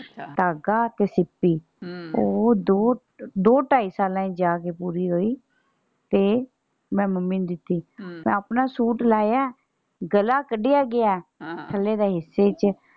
ਧਾਗਾ ਤੇ ਸਿੱਪੀ ਹਮ ਉਹ ਦੋ ਦੋ ਢਾਈ ਸਾਲਾਂ ਵਿੱਚ ਜਾ ਕੇ ਪੂਰੀ ਹੋਈ ਤੇ ਮੈਂ ਮੰਮੀ ਨੂੰ ਦਿੱਤੀ ਹਮ ਮੈਂ ਆਪਣਾ ਸੂਟ ਲਾਇਆ ਗਲਾ ਕੱਡਿਆ ਗਿਆ ਹਾਂ ਥੱਲੇ ਦੇ ਹਿੱਸੇ ਵਿੱਚ।